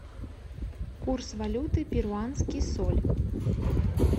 курс валюты перуанский соль